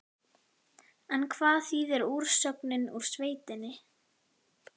En hvað þýðir úrsögnin úr sveitinni?